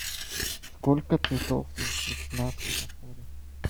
сколько цветов на светофоре